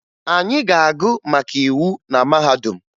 Anyị ga-agụ maka iwu na mahadum